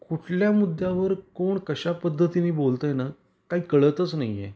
कुठल्या मुद्या वर कोण कश्या पद्धतीनी बोलत आहेना काही कळतच नाही आहे.